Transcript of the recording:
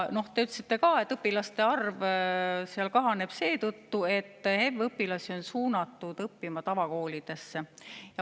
Te ütlesite ka, et õpilaste arv seal kahaneb seetõttu, et HEV-õpilasi on suunatud õppima tavakoolidesse.